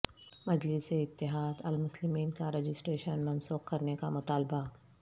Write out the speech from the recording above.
مجلس اتحاد المسلمین کا رجسٹریشن منسوخ کرنے کا مطالبہ